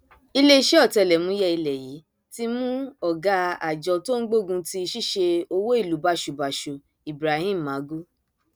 iléeṣẹ ọtẹlẹmúyẹ ilẹ yìí ti mú ọgá àjọ tó ń gbógun ti ṣíṣe owó ìlú báṣubàṣu ibrahim magu